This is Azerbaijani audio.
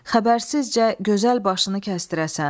Xəbərsizcə gözəl başını kəsdirəsən.